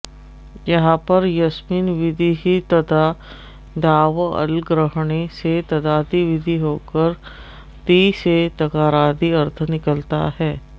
यहाँ पर यस्मिन् विधिस्तदादावल्ग्रहणे से तदादि विधि होकर ति से तकारादि अर्थ निकलता है